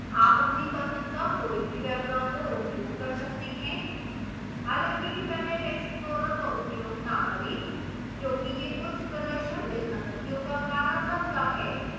आप अपनी पसंद का कोई भी web browser उपयोग कर सकते हैं हालांकि internet explorer का उपयोग न करें क्योंकि यह कुछ प्रदर्शन विसंगतियों का कारण बनता है